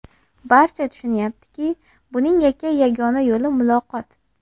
Barcha tushunyaptiki, buning yakkayu yagona yo‘li muloqot.